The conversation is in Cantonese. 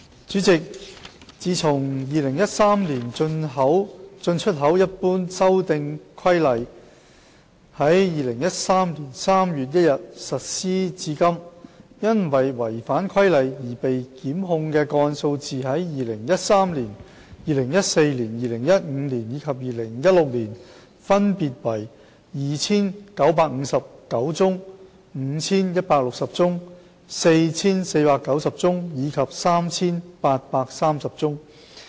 主席，一自《2013年進出口規例》於2013年3月1日實施至今，因違反《規例》而被檢控的個案數字在2013年、2014年、2015年及2016年分別為 2,959 宗、5,160 宗、4,490 宗及 3,830 宗。